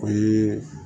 O ye